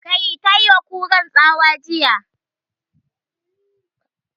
"Kai"! Ta yi wa Kuran tsawa jiya